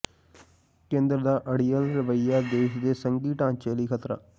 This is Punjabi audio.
ਕੇਂਦਰ ਦਾ ਅੜੀਅਲ ਰਵਈਆ ਦੇਸ਼ ਦੇ ਸੰਘੀ ਢਾਂਚੇ ਲਈ ਖ਼ਤਰਾ